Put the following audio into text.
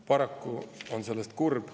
Paraku on see nii ja see on kurb.